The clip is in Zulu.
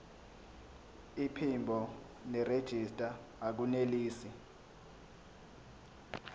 iphimbo nerejista akunelisi